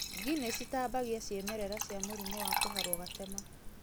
Ngi nĩcitambaga ciĩmerera cia mũrimũ wa kũharwo gatema.